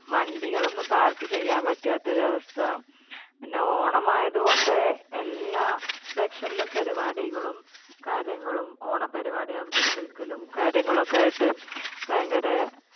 വണ്ടികൾ ഒന്നും park ചെയ്യാൻ പറ്റാത്ത ഒരു അവസ്ഥ. പിന്നെ ഓണം ആയതുകൊണ്ട് എല്ലാ section ലും പരിപാടികളും കാര്യങ്ങളും ഓണ പരുപാടി അവതരിപ്പിക്കലും കാര്യങ്ങളും ഒക്കെ ആയിട്ട് ഭയങ്കരെ